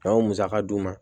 A y'o musaka d'u ma